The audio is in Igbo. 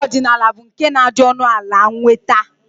Ọgwụ ọdịnala bụ nke na-adị ọnụala nnweta